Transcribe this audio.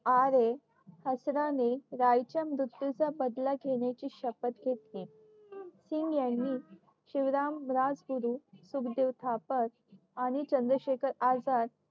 यांनी राय च्या मृत्यू चा बदला घेण्याची शपत घेतली किंग यांनी शिवराम राजगुरू सुखदेव थापत आणि चंद्रशेखर आजाद